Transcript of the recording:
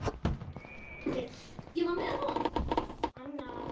Árni Vill.